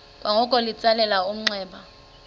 kwangoko litsalele umnxeba